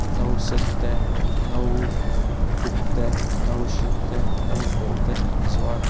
no sen te no uk te no hring te no pawl te an zuar.